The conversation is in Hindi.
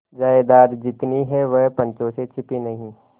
जायदाद जितनी है वह पंचों से छिपी नहीं